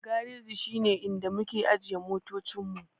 Gareji shi ne inda muke ajiye motoci mu.